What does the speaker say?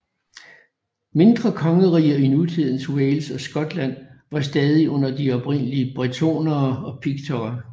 Mindre kongeriger i nutidens Wales og Skotland var stadig under de oprindelige bretonere og piktere